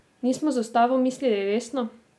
Nismo z ustavo mislili resno?